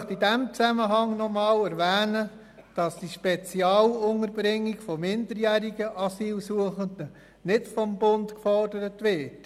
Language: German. Ich möchte in diesem Zusammenhang noch einmal erwähnen, dass die Spezialunterbringung von minderjährigen Asylsuchenden nicht vom Bund gefordert wird.